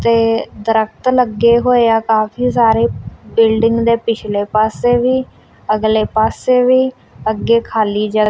ਤੇ ਦਰਖਤ ਲੱਗੇ ਹੋਏ ਆ ਕਾਫੀ ਸਾਰੇ ਬਿਲਡਿੰਗ ਦੇ ਪਿਛਲੇ ਪਾਸੇ ਵੀ ਅਗਲੇ ਪਾਸੇ ਵੀ ਅੱਗੇ ਖਾਲੀ--